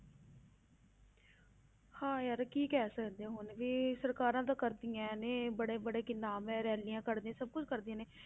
ਹਾਂ ਯਾਰ ਕੀ ਕਹਿ ਸਕਦੇ ਹਾਂ ਹੁਣ ਵੀ ਸਰਕਾਰਾਂ ਤਾਂ ਕਰਦੀਆਂ ਨੇ ਬੜੇ ਬੜੇ ਕਿੰਨਾ ਮੈਂ rallies ਕੱਢਦੀਆਂ ਸਭ ਕੁੱਝ ਕਰਦੀਆਂ ਨੇ